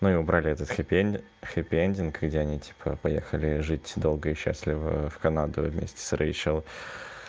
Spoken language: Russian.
ну и убрали этот хэппиэн хэппиэндинг где они типа поехали жить долго и счастлива в канаду вместе с рэйчел